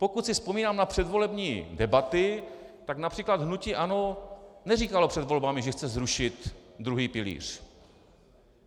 Pokud si vzpomínám na předvolební debaty, tak například hnutí ANO neříkalo před volbami, že chce zrušit druhý pilíř.